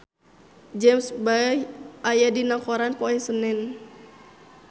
James Bay aya dina koran poe Senen